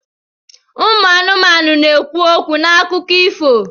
Ụmụ anụmanụ na-ekwu okwu n'akụkọ ifo.